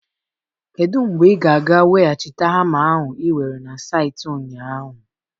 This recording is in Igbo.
Kedu mgbe ị ga-aga weghachite hama ahụ ị were na saịtị ụnyaahụ?